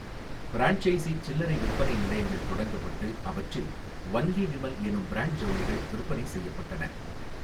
Franchise சில்லறை விற்பனை நிலையங்கள் தொடங்கப்பட்டு, அவற்றில் 'ஒன்லி விமல்' எனும் பிராண்ட் ஜவுளிகள் விற்பனை செய்யப்பட்டன.